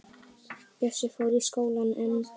Bjössi fór í skólann en